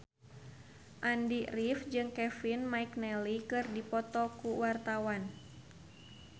Andy rif jeung Kevin McNally keur dipoto ku wartawan